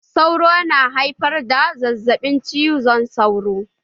Sauro yana haifar da zazzaɓin cizon sauro.